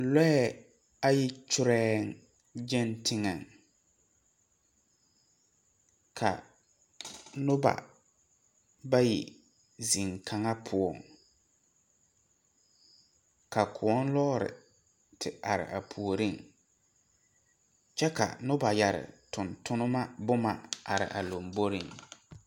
Lɔɛ ayi kyorɛɛ gyɛŋ teŋɛŋ ka noba bayi zeŋ kaŋa poɔŋ ka kõɔ lɔɔre te are a puoriŋ kyɛ ka noba yɛre tontonnema bomma are a lomboreŋ.